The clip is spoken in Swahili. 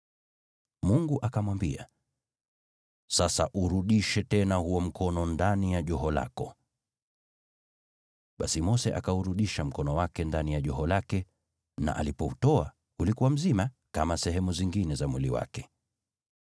Mungu akamwambia, “Sasa urudishe tena huo mkono ndani ya joho lako.” Basi Mose akaurudisha mkono wake ndani ya joho lake na alipoutoa, ulikuwa mzima, kama sehemu zingine za mwili wake.